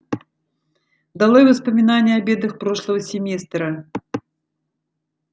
долой воспоминания о бедах прошлого семестра